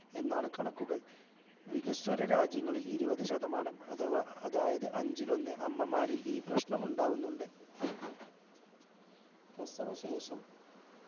എന്നാണ് കണക്കുകൾ വികസ്വര രാജ്യങ്ങളിൽ ഇരുപതുശതമാനം അഥവാ അതായത് അഞ്ചിൽ ഒന്ന് അമ്മമാരിൽ ഈ പ്രശ്നം ഉണ്ടാവുന്നുണ്ട് പ്രസവശേഷം